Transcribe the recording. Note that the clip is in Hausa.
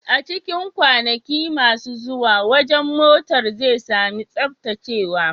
A cikin kwanaki masu zuwa, wajen motar zai sami tsaftacewa.